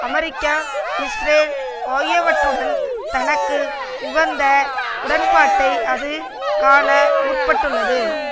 America Israel ஆகியவற்றுடன் தனக்கு உகந்த உடன்பாட்டை அது காண முற்பட்டுள்ளது